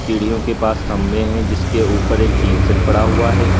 सीढ़ियों के पास खंभे हैं जिसके ऊपर एक टीन शेड पड़ा हुआ है।